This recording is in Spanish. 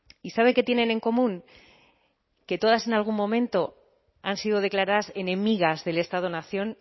y sabe que tienen en común que todas en algún momento han sido declaradas enemigas del estado nación